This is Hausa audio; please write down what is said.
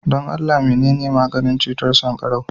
don Allah menene maganin cutar sankarau